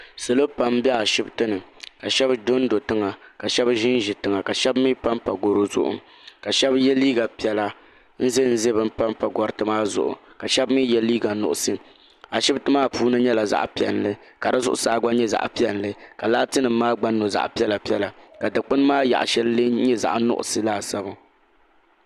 Salo pam bɛ ashibiti ni ka shɛba do n do tiŋa ka shɛba zi n zi tiŋa ka shɛba mi pa n pa garo zuɣu ka shɛba ye liiga piɛlla n zɛ n zɛ bani pa gariti maa zuɣu ka shɛba mi ye liiga nuɣiso ashibiti maa puuni nyɛla zaɣi piɛlli ka di zuɣusaa gba nyɛ zaɣi piɛlli ka laati nima maa gba nyo zaɣi piɛlla piɛlla ka dukpuni maa yaɣi shɛli lɛɛ nyɛ zaɣi nuɣiso laasabu.